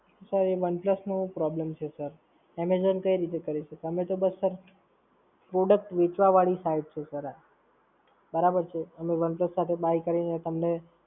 Sir, એ OnePlus નો problem છે Sir Amazon કઈ રીતે કરી શકે? અમે તો બસ Sir Product, વેચવાવાળી site છે Sir આ. બરાબર છે? અને One Plus સાથે બાય કરીને તમને